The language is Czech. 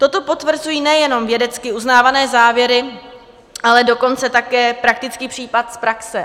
Toto potvrzují nejenom vědecky uznávané závěry, ale dokonce také praktický případ z praxe.